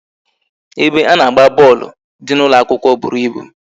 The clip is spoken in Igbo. Ebe a na-agba bọọlụ dị n'ụlọ akwụkwọ bụrụ ịbụ